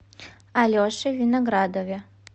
алеше виноградове